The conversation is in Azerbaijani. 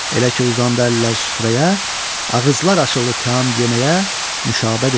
Elə ki uzandı əllər süfrəyə, ağızlar açıldı təam yeməyə, Nüşabə dedi: